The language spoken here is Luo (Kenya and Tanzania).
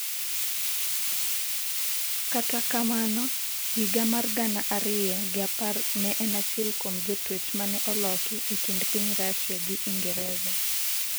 kata akamano, higa mar gana ariyo gi apar ne en achiel kuom jotwech mane oloki e kind piny Russia gi Ingreza